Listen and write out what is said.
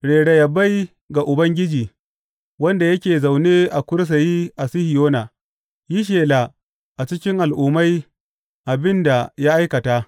Rera yabai ga Ubangiji, wanda yake zaune a kursiyi a Sihiyona; yi shela a cikin al’ummai abin da ya aikata.